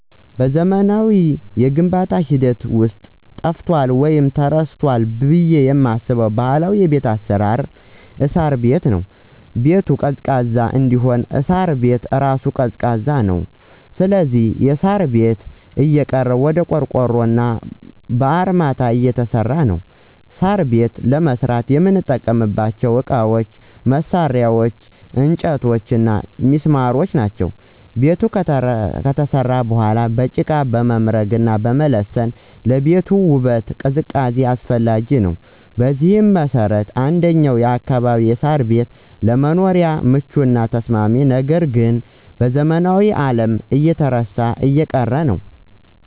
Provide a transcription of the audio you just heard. በዘመናዊው የግንባታ ሂደት ውስጥ ጠፍቷል ወይም ተረስቷል ብለው የማስበው ባህላዊ የቤት አሰራር እሳር ቤት(ሳር ቤት) ነው። ለምሳሌ -ቤቱን ቀዝቃዛ እንዲሆን እሳሩ ቤት እራሱ ቀዝቃዛ ነው ስለዚህ የሳር ቤት እየቀረ ወደ ቆርቆሮና በአርማታ እየተሰራ ነው። ሳር ቤት ለመስራት የምንጠቀምባቸው እቃዎች፣ መሳርያ፣ እንጨቶችና ሚስማሮች ናቸው። ቤቱ ከተሰራ በኋላ በጭቃ መምረግና መለሰን ለቤቱ ውበትና ቅዝቃዜ አስፈላጊ ነው። በዚህ መሰረት እንደኛ አካባቢ የሳር ቤት ለመኖሪያም ምቹና ተስማሚ ነው ነገር ግን በዘመናዊው አለም እየተረሳና እየቀረ ነው።